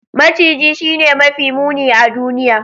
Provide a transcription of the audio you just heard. Maciji Shine mafi muni a duniya.